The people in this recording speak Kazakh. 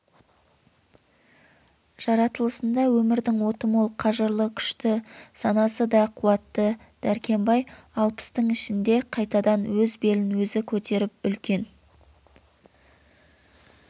жаратылысында өмірдің оты мол қажырлы күшті санасы да қуатты дәркембай алпыстың ішінде қайтадан өз белін өзі көтеріп үлкен